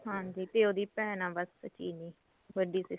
ਹਾਂਜੀ ਤੇ ਉਹਦੀ ਭੈਣ ਐ ਬੱਸ ਚਿਰੀ ਵੱਡੀ sister